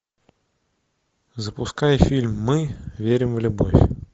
запускай фильм мы верим в любовь